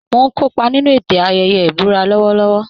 Mò ń kópa nínú ètò ayẹyẹ ìbúra lọ́wọ́lọ́wọ́